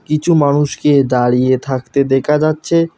কিছু মানুষকে দাঁড়িয়ে থাকতে দেখা যাচ্ছে।